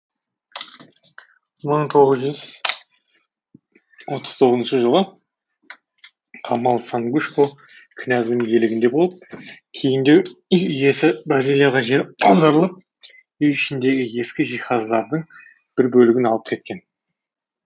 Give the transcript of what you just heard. мың тоғыз жүз отыз тоғызыншы жылы қамал сангушко князьдің иелігінде болып кейіндеу үй иесі бразилияға жер аударылып үй ішіндегі ескі жиһаздардың бір бөлігін алып кеткен